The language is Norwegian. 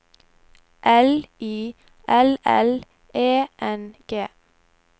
L I L L E N G